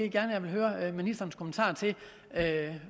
gerne høre ministerens kommentar til